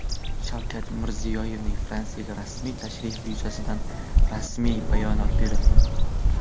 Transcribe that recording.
Shavkat Mirziyoyevning Fransiyaga rasmiy tashrifi yuzasidan rasmiy bayonot berildi.